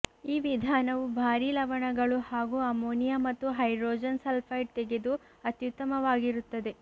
ಈ ವಿಧಾನವು ಭಾರೀ ಲವಣಗಳು ಹಾಗೂ ಅಮೋನಿಯ ಮತ್ತು ಹೈಡ್ರೋಜನ್ ಸಲ್ಫೈಡ್ ತೆಗೆದು ಅತ್ಯುತ್ತಮವಾಗಿರುತ್ತದೆ